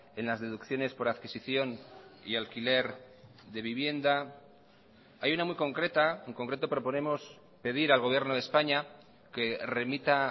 en las deducciones por adquisición y alquiler de vivienda hay una muy concreta en concreto proponemos pedir al gobierno de españa que remita